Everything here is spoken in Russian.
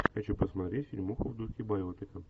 хочу посмотреть фильмуху в духе байопика